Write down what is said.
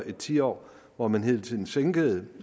i et tiår hvor man hele tiden sænkede